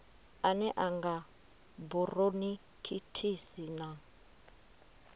ane a nga buronikhitisi na